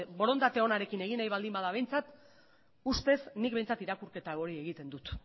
borondate onarekin egin nahi baldin bada behintzat ustez nik behintzat irakurketa hori egiten dut